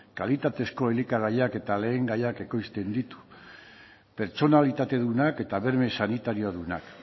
kalitatezko elikagaiak eta lehen gaiak ekoizten ditu pertsonalitatedunak eta berme sanitariodunak